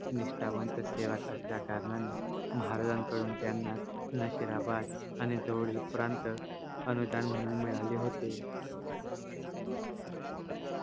निष्टावंत सेवक असल्या कारणाने महाराजांकडून त्यांना नशिराबाद आणि जवळील प्रांत अनुदान म्हूणून मिळाले होते